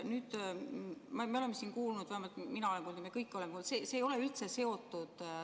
Nüüd me oleme siin kuulnud, vähemalt mina olen kuulnud, me oleme kõik kuulnud seda, mis ei ole sellega üldse seotud.